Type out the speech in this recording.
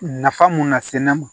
Nafa mun nase ne ma